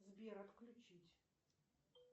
сбер отключить